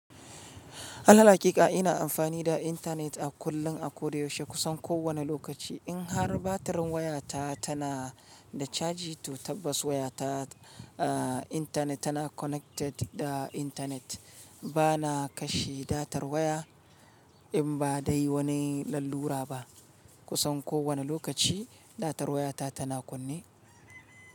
Alal haƙiƙa ina amfani da intanet a kullum, a koda yaushe, kusan kowane lokaci. In har batirin wayata ta na da caji to tabbas wayata ah, intanet tana connected da intanet. Ba na kashe datar waya in ba dai wani lalura ba. Kusan ko wane lokaci datar wayata tana kunne.